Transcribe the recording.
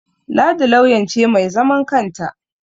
Ladi lauyan ce mai zaman kanta